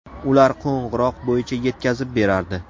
Ular qo‘ng‘iroq bo‘yicha yetkazib berardi.